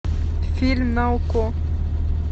фильм на окко